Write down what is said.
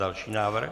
Další návrh.